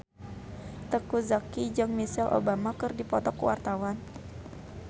Teuku Zacky jeung Michelle Obama keur dipoto ku wartawan